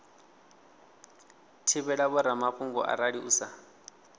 thivhela vhoramafhungo arali u sa